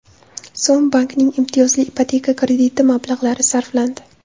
so‘m bankning imtiyozli ipoteka krediti mablag‘lari sarflandi.